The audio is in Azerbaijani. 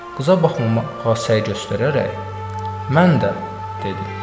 Qıza baxmamağa səy göstərərək mən də, dedi.